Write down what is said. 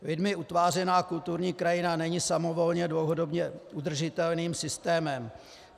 Lidmi utvářená kulturní krajina není samovolně dlouhodobě udržitelným systémem.